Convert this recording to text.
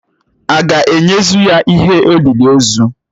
Aga ēnyezu ya ihe olịlị ozu?